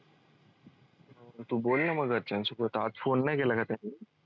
म घरच्यांशी phone नाही केला का त्यांनी?